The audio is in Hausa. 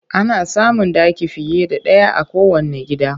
Ana samun ɗaki fiye da ɗaya a kowanne gida